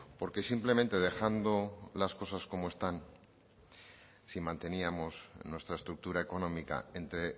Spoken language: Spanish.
porque simplemente dejando las cosas como están si manteníamos nuestra estructura económica entre